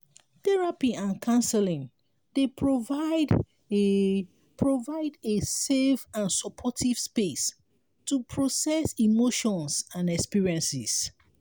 therapy and counseling dey provide a provide a safe and supportive space to process emotions and experiences.